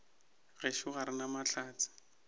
gešo ga re na mahlatse